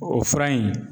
O fura in